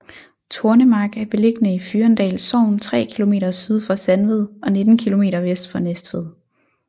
Tornemark er beliggende i Fyrendal Sogn tre kilometer syd for Sandved og 19 kilometer vest for Næstved